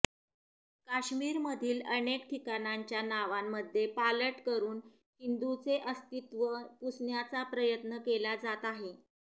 काश्मीरमधील अनेक ठिकाणांच्या नावांमध्ये पालट करून हिंदूंचे अस्तित्व पुसण्याचा प्रयत्न केला जात आहे